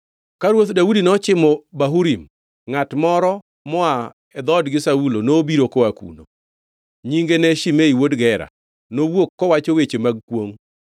Ka ruoth Daudi nochimo Bahurim, ngʼat moro moa e dhoodgi Saulo nobiro koa kuno. Nyinge ne Shimei wuod Gera, nowuok kowacho weche mag kwongʼ.